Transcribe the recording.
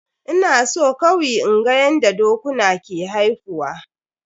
Ina so kawi inga yanda dokuna ke haifuwa.